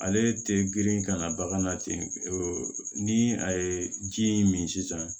Ale tɛ girin ka na bagan na ten ni a ye ji in min sisan